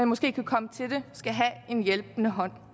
måske kan komme til det skal have en hjælpende hånd